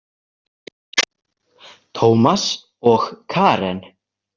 Tómas og Karen.